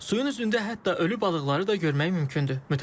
Suyun üzündə hətta ölü balıqları da görmək mümkündür.